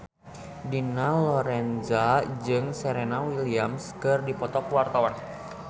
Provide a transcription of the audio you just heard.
Dina Lorenza jeung Serena Williams keur dipoto ku wartawan